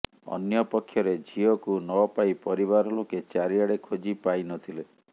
ଅନ୍ୟପକ୍ଷରେ ଝିଅକୁ ନପାଇ ପରିବାର ଲୋକେ ଚାରିଆଡ଼େ ଖୋଜି ପାଇନଥିଲେ